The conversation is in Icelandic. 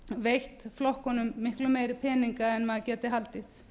veitt flokkunum miklu meiri peninga en maður gæti haldið